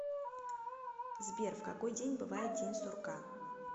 сбер в какой день бывает день сурка